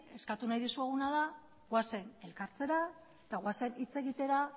eskatu nahi dizueguna da goazen elkartzera eta goazen hitz egitera